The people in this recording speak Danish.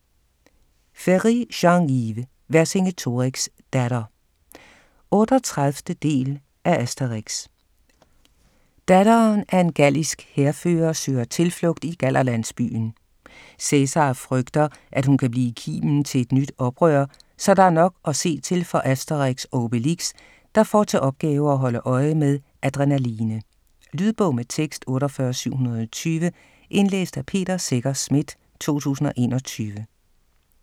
Ferri, Jean-Yves: Vercingetorix' datter 38. del af Asterix. Datteren af en gallisk hærfører søger tilflugt i gallerlandsbyen. Cæsar frygter, at hun kan blive kimen til et nyt oprør, så der er nok at se til for Asterix og Obelix, der får til opgave at holde øje med Adrenaline. Lydbog med tekst 48720 Indlæst af Peter Secher Schmidt, 2021.